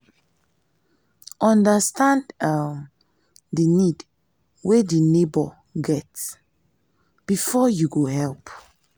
understand um di need wey di neighbour get um before you go help